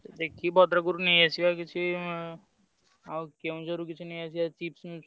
ଦେଖିକି ଭଦ୍ରକ ରୁ ନେଇ ଆସିଆ କିଛି ଆଉ କେଉଁଝରରୁ କିଛି ନେଇ ଆସିଆ chips ମିପ୍ସ।